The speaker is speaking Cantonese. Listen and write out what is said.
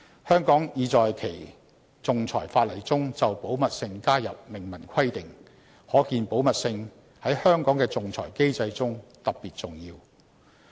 香港已在其仲裁法例中就保密性加入明文規定，可見保密性在香港的仲裁機制中特別重要。